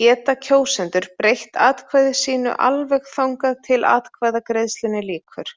geta kjósendur breytt atkvæði sínu alveg þangað til atkvæðagreiðslunni lýkur.